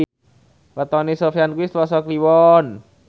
wetone Sofyan kuwi Selasa Kliwon